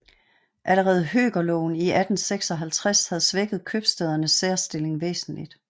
Allerede høkerloven i 1856 havde svækket købstædernes særstilling væsentligt